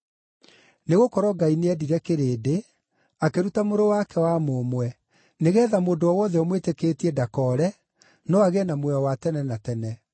“Nĩgũkorwo Ngai nĩendire kĩrĩndĩ, akĩruta Mũrũ wake wa mũmwe, nĩgeetha mũndũ o wothe ũmwĩtĩkĩtie ndakoore, no agĩe na muoyo wa tene na tene.